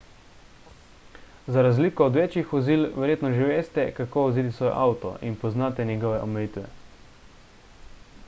za razliko od večjih vozil verjetno že veste kako voziti svoj avto in poznate njegove omejitve